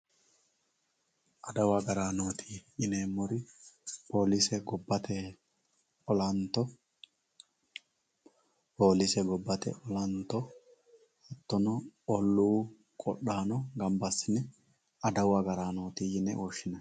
Addawu agaranoti yinemori polise gobbate olanto hatono oluu qodhano ganba asine addawu agaranoti yinani